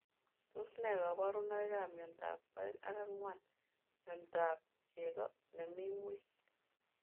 Tos nee kabarunoik ap miondoop oeng ak angwan miondop chego nemii ngweny?